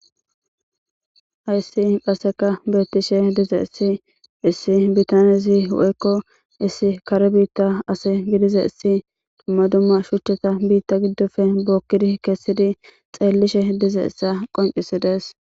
Hayssi qasseka beettishe dizayssi issi nitanezi dumma dumma shuvhchata biitta giddoppe bookki kessidi xeellizayssa bessees.